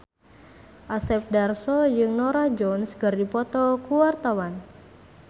Asep Darso jeung Norah Jones keur dipoto ku wartawan